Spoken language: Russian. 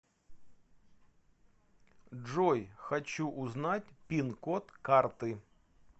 джой хочу узнать пин код карты